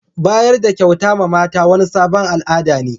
Bayar da kyauta ma mata wani sabon al'ada ne.